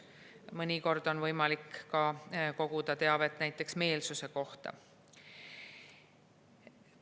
Mõnikord on võimalik koguda teavet ka näiteks meelsuse kohta.